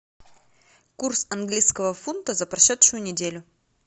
курс английского фунта за прошедшую неделю